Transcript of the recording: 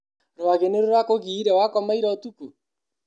Rwagĩ nĩrũrakũgiire wakoma ira ũtukũ?